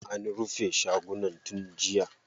An rufe shagunan tun jiya.